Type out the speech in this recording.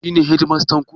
Shi ne shedimastan ku?